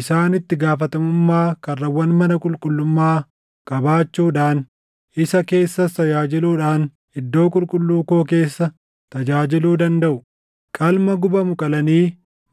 Isaan itti gaafatamummaa karrawwan mana qulqullummaa qabaachuudhaan, isa keessas tajaajiluudhaan iddoo qulqulluu koo keessa tajaajiluu dandaʼu; qalma gubamu qalanii